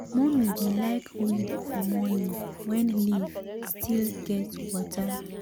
mummy dey like weed for morning when leaf still get water.